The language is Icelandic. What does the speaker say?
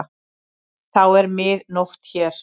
Þá er mið nótt hér.